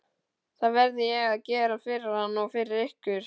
Það verði ég að gera fyrir hann og fyrir ykkur!